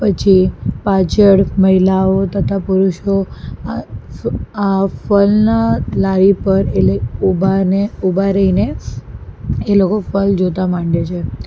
પછી પાછળ મહિલાઓ તથા પુરુષો આ ફ આ ફળના લારી પર એટલે ઉભા અને ઉભા રહીને એ લોકો ફળ જોતા માંડે છે.